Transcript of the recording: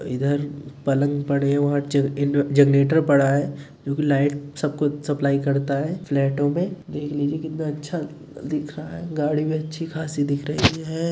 इधर पलंग पड़े हैं वहाँ जग जनरेटर पड़ा है जोकि लाइट सबको सप्लाई करता है फ्लैटों में देख लीजिए कितना अच्छा दिख रहा है। गाड़ी भी अच्छी खासी दिख रही है।